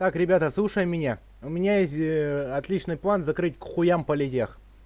так ребята слушаем меня у меня есть отличный план закрыть к хуям политех